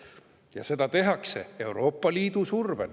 Ja seda tehakse Euroopa Liidu survel.